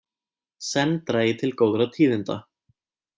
Senn dragi til góðra tíðinda